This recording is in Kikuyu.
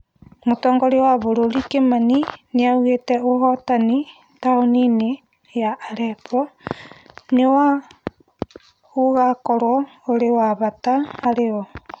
Mũtongoria wa bũrũri Kimani nĩaugĩte ũhotani taũni-inĩ ya Allepo nĩ wa ugakorwo uri wa bata hari o